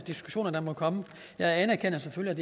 diskussioner der måtte komme jeg anerkender selvfølgelig